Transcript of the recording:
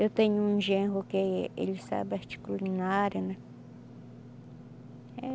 Eu tenho um genro que é, ele sabe arte culinária, né?